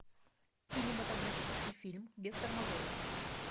кинематографический фильм без тормозов